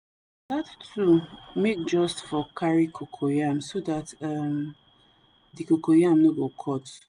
that tool make just for carry cocoyam so that um the coco yam no go cut